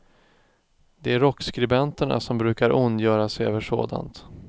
Det är rockskribenterna som brukar ondgöra sig över sådant.